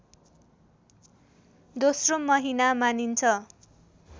दोस्रो महिना मानिन्छ